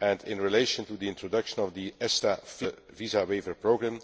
In relation to the introduction of the ESTA fee for travel under the visa waiver programme,